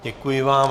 Děkuji vám.